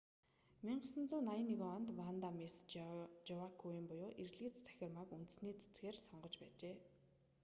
1981 онд ванда мисс жоакуйм буюу эрлийз цахирмааг үндэсний цэцгээр сонгож байжээ